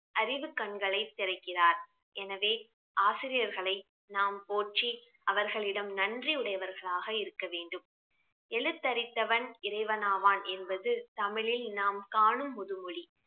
அறிவு கண்களை திறக்கிறார் எனவே ஆசிரியர்களை நாம் போற்றி அவர்களிடம் நன்றி உடையவர்களாக இருக்க வேண்டும் எழுத்தறிவித்தவன் இறைவன் ஆவான் என்பது தமிழில் நாம் காணும் முதுமொழி